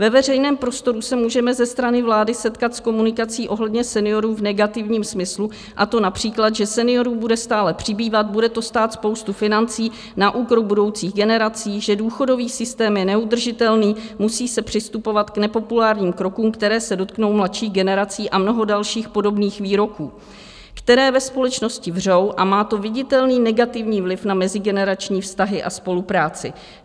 Ve veřejném prostoru se můžeme ze strany vlády setkat s komunikací ohledně seniorů v negativním smyslu, a to například, že seniorů bude stále přibývat, bude to stát spoustu financí na úkor budoucích generací, že důchodový systém je neudržitelný, musí se přistupovat k nepopulárním krokům, které se dotknou mladších generací, a mnoho dalších podobných výroků, které ve společnosti vřou a má to viditelný negativní vliv na mezigenerační vztahy a spolupráci.